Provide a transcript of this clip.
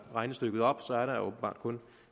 regnestykket op er der åbenbart kun